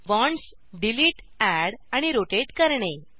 bonds delete add आणि rotate करणे